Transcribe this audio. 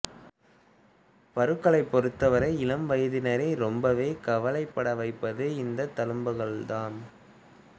பருக்களைப் பொறுத்தவரை இளம் வயதினரை ரொம்பவே கவலைப்பட வைப்பது இந்தத் தழும்புகள்தாம்